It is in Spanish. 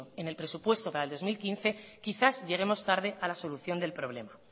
en el presupuesto para el dos mil quince quizás lleguemos tarde a la solución del problema